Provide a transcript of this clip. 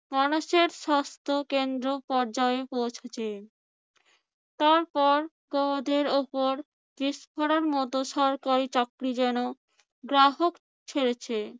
মানুষের স্বাস্থ্য কেন্দ্র পর্যায়ে পৌঁছেছে। তারপর গোদের উপর বিষ ফোঁড়ার মত সরকারি চাকরি যেন গ্রাহক ছেড়েছে।